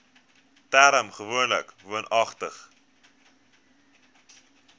term gewoonlik woonagtig